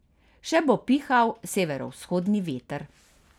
Še bo pihal severovzhodni veter.